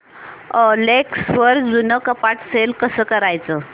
OLX वर जुनं कपाट सेल कसं करायचं